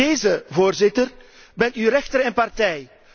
In deze, Voorzitter, bent u rechter en partij.